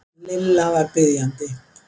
Lilla var biðjandi.